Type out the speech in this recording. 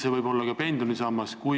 See võib ka pensionisammas olla ...